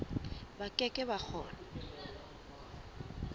ba ke ke ba kgona